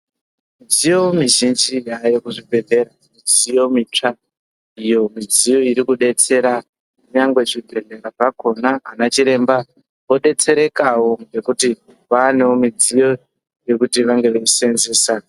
Midziyo mizhinji yaayo kuzvibhedhlera, midziyo mitsva, iyo midziyo iri kudetsera nyangwe zvibhedhlera zvakhona. Anachiremba, odetserekawo nekuti vaanewo midziyo yekuseenzesa.